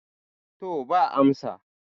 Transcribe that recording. to ba amsa